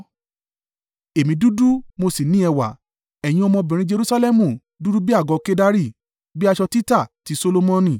Èmi dúdú mo sì ní ẹwà. Ẹ̀yin ọmọbìnrin Jerusalẹmu dúdú bí àgọ́ ìlú Kedari, bí aṣọ títa ti Solomoni.